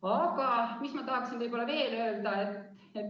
Aga mis ma tahaksin veel öelda?